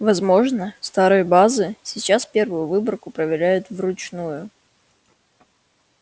возможно старые базы сейчас первую выборку проверяют вручную